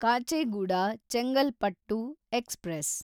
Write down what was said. Kacheguda Chengalpattu express